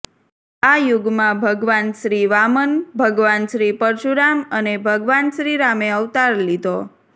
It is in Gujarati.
આ યુગમાં ભગવાન શ્રી વામન ભગવાન શ્રી પરશુરામ અને ભગવાન શ્રી રામે અવતાર લીધો